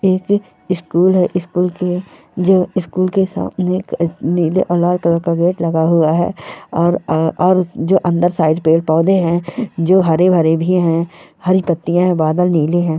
एक स्कूल है स्कूल के जो स्कूल के सामने एक अ नीले और लाल कलर का गेट लगा हुआ है और आ और जो अंदर साइड पेड़-पौधे हैं जो हरे-भरे भी हैं हरी पत्तियाँ हैं बादल नीली हैं।